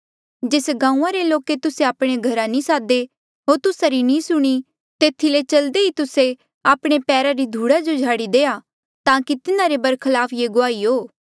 जेस गांऊँआं रे लोके तुस्से आपणे घरा नी सादे होर तुस्सा री नी सुणी तेथी ले चलदे ई तुस्से आपणे पैरा री धूड़ा जो झाड़ी देआ ताकि तिन्हारे बरखलाफ ये गुआही हो